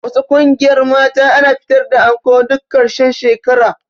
Wasu ƙungiyar mata ana fitar da anko duk ƙarshen shekara